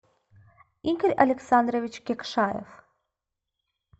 игорь александрович кекшаев